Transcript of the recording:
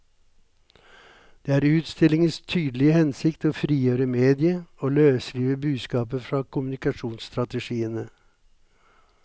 Det er utstillingens tydelige hensikt å frigjøre mediet, å løsrive budskapet fra kommunikasjonsstrategiene.